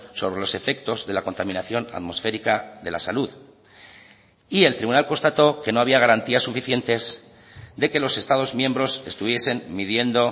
sobre los efectos de la contaminación atmosférica de la salud y el tribunal constató que no había garantías suficientes de que los estados miembros estuviesen midiendo